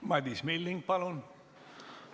Madis Milling, palun!